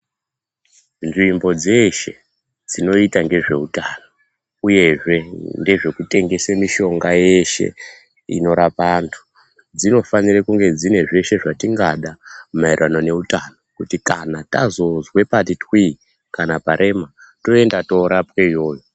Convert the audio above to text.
Nzvimbo dzeshe dzinoita ngezveutano uyezve ndezvekutengese mishonga yeshe inorapa antu, dzinofanirae kunge dzine zveshe zvatingada maererano neutano kuti kana tazozwe pati twii kana parema, toenda torapwe iyoyo.